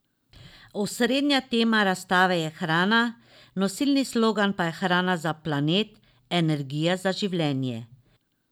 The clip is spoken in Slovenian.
Osrednja tema razstave je hrana, nosilni slogan pa Hrana za planet, energija za življenje.